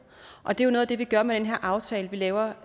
og det er jo noget af det vi gør med den her aftale vi laver